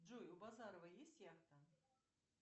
джой у базарова есть яхта